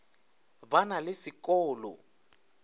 ba na se ko lo